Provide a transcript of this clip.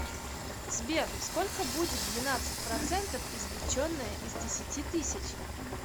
сбер сколько будет двенадцать процентов извлеченное из десяти тысяч